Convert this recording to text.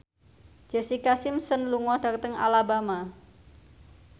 Jessica Simpson lunga dhateng Alabama